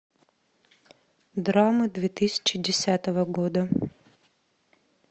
драмы две тысячи десятого года